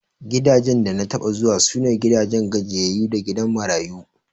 Gidajen da na taɓa zuwa, su ne gidan gajiyayyu da gidan marayu.